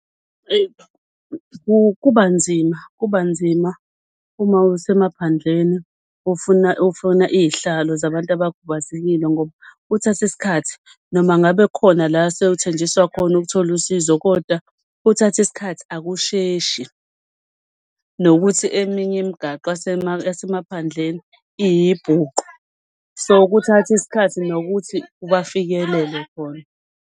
Kuba nzima kuba nzima uma asemaphandleni ufuna iy'hlalo zabantu abakhubazekile ngoba kuthatha iskhathi noma ngabe kukhona la sewuthenjiswa khona ukuthola usizo kodwa kuthatha iskhathi akusheshi. Nokuthi eminye imgaqo yasemaphandleni iyibhuqu so kuthatha isikhathi nokuthi bafikelele khona.